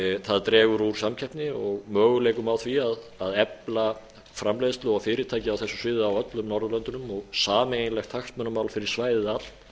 það dregur úr samkeppni og möguleikum á því að efla framleiðslu og fyrirtæki á þessu sviði á öllum norðurlöndunum og sameiginlegt hagsmunamál fyrir svæðið allt